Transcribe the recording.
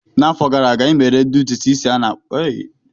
N'afọ gara aga, ị mere ụdị ntụtụ isi "afro" dịka a esi-akpọ ya na bekee?